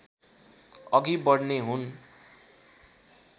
अघि बढ्ने हुन्